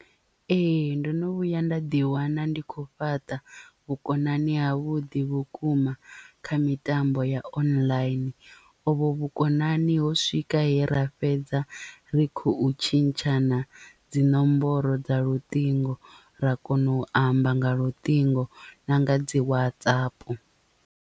Ee ndono vhuya nda ḓiwana ndi khou fhaṱa vhukonani ha vhuḓi vhukuma kha mitambo ya online ovho vhukonani ho swika he ra fhedza ri khou tshintshana dzi ṋomboro dza luṱingo ra kona u amba nga luṱingo na nga dzi WhatsApp.